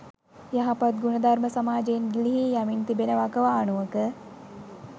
යහපත් ගුණධර්ම සමාජයෙන් ගිලිහී යමින් තිබෙන වකවානුවක